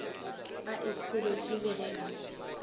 a ikhoretše le ge a